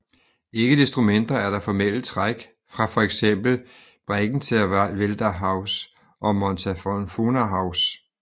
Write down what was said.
Ikke desto mindre er der formelle træk fra for eksempel Bregenzerwälderhaus og Montafonerhaus